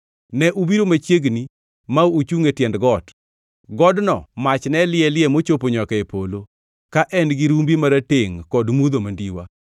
Ne ubiro machiegni ma uchungʼ e tiend got. Godno mach ne liele mochopo nyaka e polo, ka en-gi rumbi maratengʼ kod mudho mandiwa.